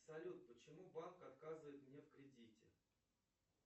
салют почему банк отказывает мне в кредите